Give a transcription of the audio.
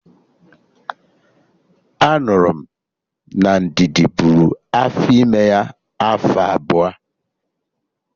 Anụrụ m na Ndidi bụrụ afọ ime ya afọ abụọ